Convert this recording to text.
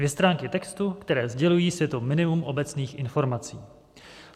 Dvě stránky textu, které sdělují světu minimum obecných informací.